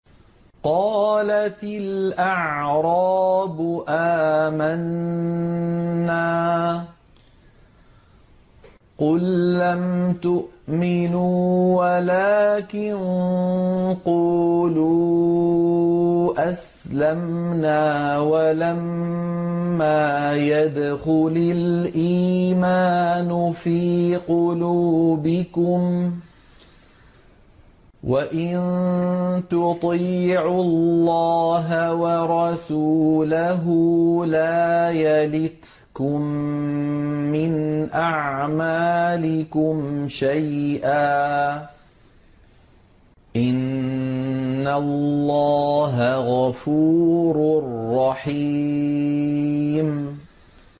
۞ قَالَتِ الْأَعْرَابُ آمَنَّا ۖ قُل لَّمْ تُؤْمِنُوا وَلَٰكِن قُولُوا أَسْلَمْنَا وَلَمَّا يَدْخُلِ الْإِيمَانُ فِي قُلُوبِكُمْ ۖ وَإِن تُطِيعُوا اللَّهَ وَرَسُولَهُ لَا يَلِتْكُم مِّنْ أَعْمَالِكُمْ شَيْئًا ۚ إِنَّ اللَّهَ غَفُورٌ رَّحِيمٌ